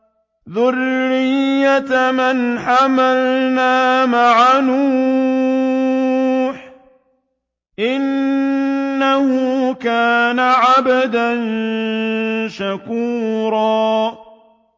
ذُرِّيَّةَ مَنْ حَمَلْنَا مَعَ نُوحٍ ۚ إِنَّهُ كَانَ عَبْدًا شَكُورًا